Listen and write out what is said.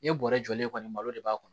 I ye bɔrɛ jɔlen kɔni malo de b'a kɔnɔ